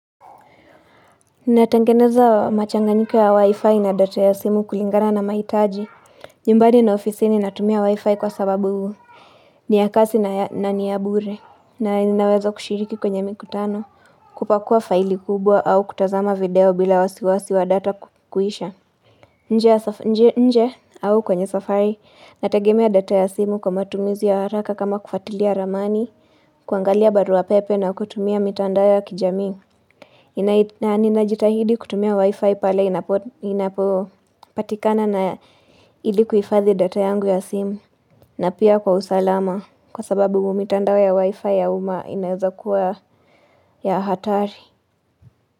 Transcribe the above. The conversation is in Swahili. Natengeneza machanganyika ya wi-fi na data ya simu kulingana na maitaji nyumbani na ofisi ni natumia wi-fi kwa sababu huu ni ya kasi na ni ya bure na inaweza kushiriki kwenye mikutano kupakua faili kubwa au kutazama video bila wasiwasi wa data kukwisha nje nje au kwenye safari nategemea data ya simu kwa matumizi ya haraka kama kufatilia ramani kuangalia barua pepe na kutumia mitanda ya kijamii inai na ninajitahidi kutumia wifi pale inapo inapopatikana na ilikuifadhi data yangu ya simu na pia kwa usalama kwa sababu mitandao ya wifi ya uma inaezakua ya hatari.